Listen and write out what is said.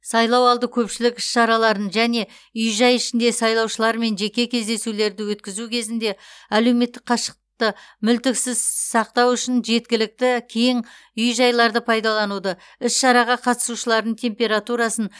сайлау алды көпшілік іс шараларын және үй жай ішінде сайлаушылармен жеке кездесулерді өткізу кезінде әлеуметтік қашықтықты мүлтіксіз сақтау үшін жеткілікті кең үй жайларды пайдалануды іс шараға қатысушылардың температурасын